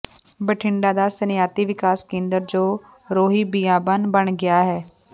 ਬਠਿੰਡਾ ਦਾ ਸਨਅਤੀ ਵਿਕਾਸ ਕੇਂਦਰ ਜੋ ਰੋਹੀ ਬੀਆਬਾਨ ਬਣ ਗਿਆ ਹੈ